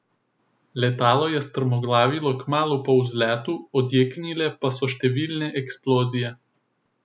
Letalo je strmoglavilo kmalu po vzletu, odjeknile pa so številne eksplozije.